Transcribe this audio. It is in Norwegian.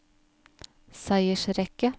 seiersrekke